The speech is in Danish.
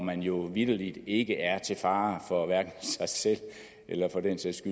man jo vitterlig ikke er til fare for hverken sig selv eller for den sags